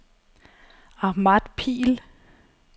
Ahmad Pihl